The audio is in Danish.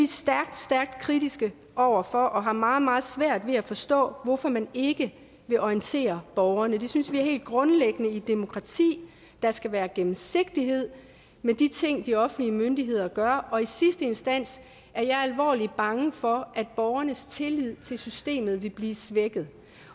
stærkt stærkt kritiske over for det og har meget meget svært ved at forstå hvorfor man ikke vil orientere borgerne vi synes det er helt grundlæggende i et demokrati at der skal være gennemsigtighed med de ting de offentlige myndigheder gør og i sidste instans er jeg alvorligt bange for at borgernes tillid til systemet vil blive svækket